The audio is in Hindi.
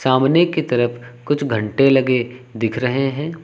अमने की तरफ कुछ घंटे लगे दिख रहे हैं।